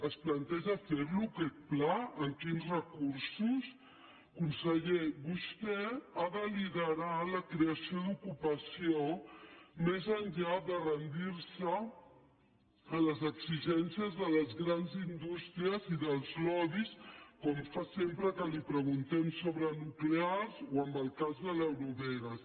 es planteja fer·lo aquest pla amb quins recursos conseller vostè ha de liderar la creació d’ocupació més enllà de rendir·se a les exigències de les grans indústries i dels lobbys com fa sempre que li preguntem sobre nuclears o en el cas de l’eurovegas